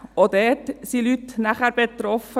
Auch dort sind nachher Leute betroffen.